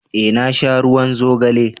eh na sha ruwan zogale